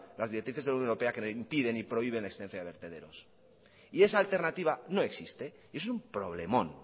las directrices de la unión europea que le impiden y prohíben la existencia de vertederos y esa alternativa no existe y es un problemón